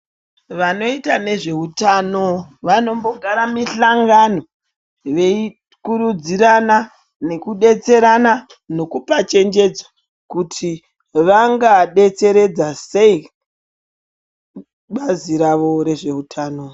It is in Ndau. Vanoita nezvehutano, vanombogara mihlangano veyikurudzirana nekudetserana nokupachenjedzo kuti vsngadetseredza sei bazi rawo rezvehutano.